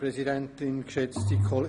– Das ist der Fall.